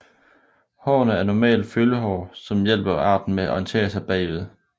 Hårene er normalt følehår som hjælper arten med at orientere sig bagud